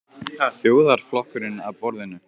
Þjóðarflokkurinn að borðinu?